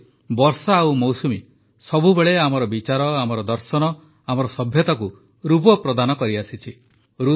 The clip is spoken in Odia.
ସେହିପରି ବର୍ଷା ଓ ମୌସୁମି ସବୁବେଳେ ଆମର ବିଚାର ଆମର ଦର୍ଶନ ଓ ଆମର ସଭ୍ୟତାକୁ ରୂପ ପ୍ରଦାନ କରିଆସିଛି